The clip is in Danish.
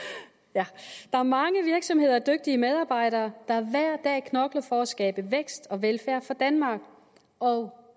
der er mange virksomheder og dygtige medarbejdere der hver dag knokler for at skabe vækst og velfærd i danmark og